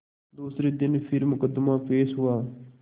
दूसरे दिन फिर मुकदमा पेश हुआ